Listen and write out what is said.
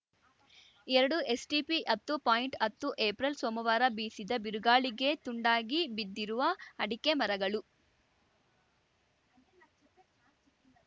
ಎರಡುಎಸ್ ಟಿಪಿಹತ್ತು ಪಾಯಿಂಟ್ ಹತ್ತುಏಪ್ರಲ್ ಸೋಮವಾರ ಬೀಸಿದ ಬಿರುಗಾಳಿಗೆ ತುಂಡಾಗಿ ಬಿದ್ದಿರುವ ಅಡಿಕೆ ಮರಗಳು